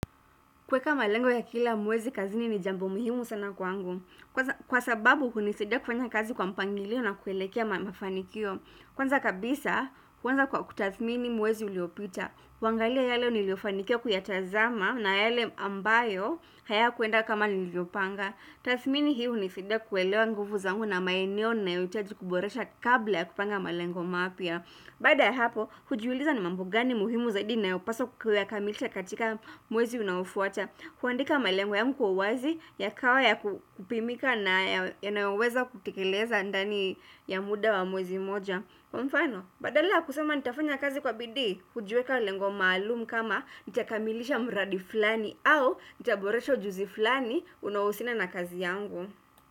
Kweka malengo ya kila mwezi kazini ni jambo muhimu sana kwa angu. Kwa sababu kunisidia kufanya kazi kwa mpangilio na kuelekea mafanikio. Kwanza kabisa, kwanza kwa kutathmini mwezi uliopita. Kuangalia yale niliofanikiwa kuyatazama na yale ambayo haya kuenda kama nilivyo panga. Tathmini hii unisaida kuelewa nguvu zangu na maeneo nayoitaji kuboresha kabla ya kupanga malengo mapya. Bada ya hapo, hujuuliza ni mambo gani muhimu zaidi nayo paswa kuya kamilisha katika mwezi unaofuata kuandika malengo yangu kwa uwazi ya kawa ya kupimika na yanaweza kutekeleza andani ya muda wa mwezi mmoja Kwa mfano, badala ya kusema nitafanya kazi kwa bidii, hujiweka lengo maalumu kama nita kamilisha mradi flani au, nita boresha ujuzi flani, unaousiana na kazi yangu.